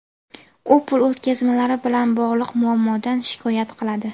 U pul o‘tkazmalari bilan bog‘liq muammodan shikoyat qiladi.